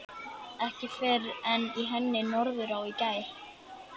Ekki fyrr en í henni Norðurá í gær.